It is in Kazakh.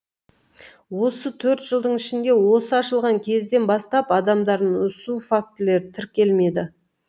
осы төрт жылдың ішінде осы ашылған кезден бастап адамдардың үсу фактілері тіркелмеді